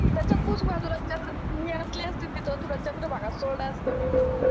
मी असले असते तर तुला चंद्रभागात सोडलं असतं मी